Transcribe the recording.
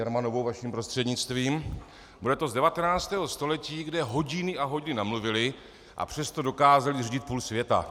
Jermanovou vaším prostřednictvím, bude to z 19. století, kde hodiny a hodiny mluvili, a přesto dokázali řídit půl světa.